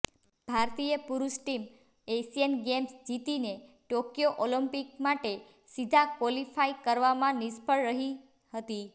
ભારતીય પુરુષ team Asian games જીતીને ટોક્યો ઓલિમ્પિક માટે સીધા ક્વોલિફાઇ કરવામાં નિષ્ફળ રહી હતી